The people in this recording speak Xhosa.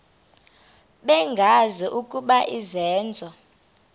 bengazi ukuba izenzo